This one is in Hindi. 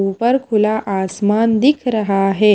ऊपर खुला आसमान दिख रहा है।